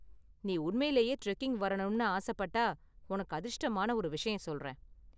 நீ உண்மையிலேயே டிரெக்கிங் வரணும்னு ஆசப்பட்டா உனக்கு அதிர்ஷ்டமான ஒரு விஷயம் சொல்றேன்.